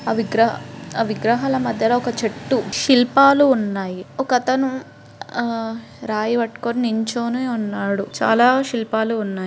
ఆ విగ్ర విగ్రహాల మధ్యల ఒక చెట్టు శిల్పాలు ఉన్నాయి. ఒక అతను ఆహ్ రాయి పట్టుకొని నించోని ఉన్నాడు. చాలా శిల్పాలు ఉన్నాయి.